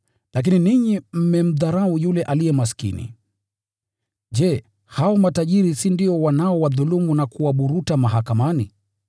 Lakini ninyi mmemdharau yule aliye maskini. Je, hao matajiri si ndio wanaowadhulumu na kuwaburuta mahakamani?